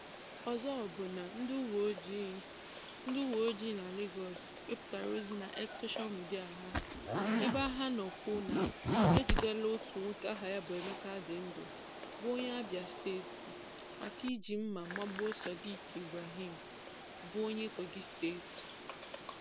Ọzọ bụ na, ndị uwe ojii ndị uwe ojii na Legọs wepụtara ozi na X soshal midịa ha ebe ha nọ kwuo na "ha ejidela otu nwoke aha ya bụ Ebuka Adịndu, bụ onye Abịa steeti maka iji mma magbuo Sodiq Ibrahim, bụ onye Kogi steeti".